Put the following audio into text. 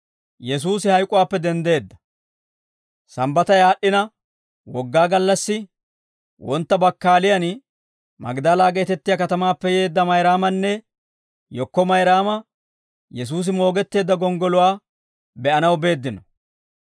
Sambbatay aad'd'ina Wogaa gallassi wontta bakkaaliyan, Magdala geetettiyaa katamaappe yeedda Mayraamanne yekko Mayraama Yesuusi moogetteedda gonggoluwaa be'anaw beeddino.